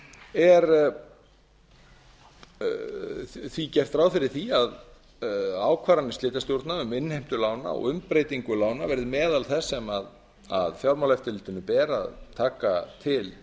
er því gert ráð fyrir því að ákvarðanir slitastjórna um innheimtu lána og umbreytingu lána verði meðal þess sem fjármálaeftirlitinu ber að taka til